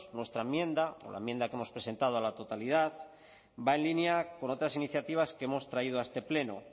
nuestra enmienda la enmienda que hemos presentado a la totalidad va en línea con otras iniciativas que hemos traído a este pleno